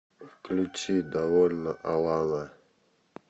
включи довольно алана